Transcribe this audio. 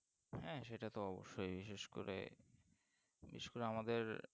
হ্যাঁ সেটা তো অবশ্যই বিশেষ করে বিশেষ করে আমাদের